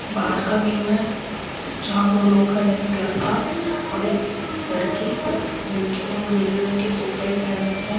बाहर का व्यू है जहाँ दो लोग खड़े है एक लड़का और एक लड़की लड़के ने नीले रंग की कोट पैंट पहन रखी है।